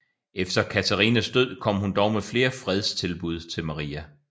Efter Katharinas død kom hun dog med flere fredstilbud til Maria